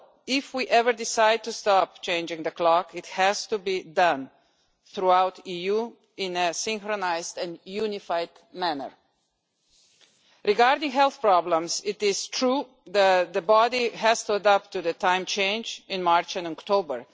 If we ever decided to stop changing the clock, it has to be done throughout the EU in a synchronised and unified manner. Regarding health problems, it is true that the body has to adapt to the time change in March and October.